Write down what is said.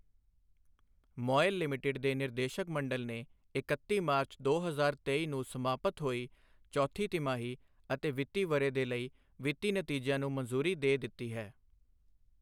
MOIL limited ਦੇ ਨਿਰਦੇਸ਼ਕ ਮੰਡਲ ਨੇ ਇਕੱਤੀ ਮਾਰਚ, ਦੋ ਹਜ਼ਾਰ ਤੇਈ ਨੂੰ ਸਮਾਪਤ ਹੋਈ ਚੌਥੀ ਤਿਮਾਹੀ ਅਤੇ ਵਿੱਤੀ ਵਰ੍ਹੇ ਦੇ ਲਈ ਵਿੱਤੀ ਨਤੀਜਿਆਂ ਨੂੰ ਮਨਜ਼ੂਰੀ ਦੇ ਦਿੱਤੀ ਹੈ।